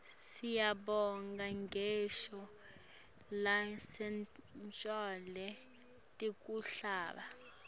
siyibona ngisho nasetincoleni tekuhamba